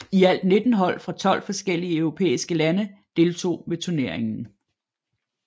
I alt 19 hold fra 12 forskellige europæiske lande deltog ved turneringen